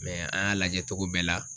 an y'a lajɛ cogo bɛɛ la